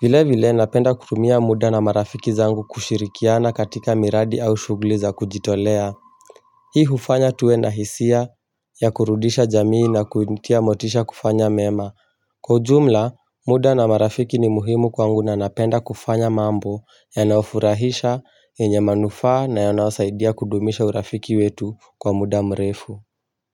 vile vile napenda kutumia muda na marafiki zangu kushirikiana katika miradi au shughuli za kujitolea Hii hufanya tuwe na hisia ya kurudisha jamii na kunitia motisha kufanya mema Kwa ujumla, muda na marafiki ni muhimu kwangu na napenda kufanya mambo yanaofurahisha yenye manufaa na yanaosaidia kudumisha urafiki wetu kwa muda mrefu.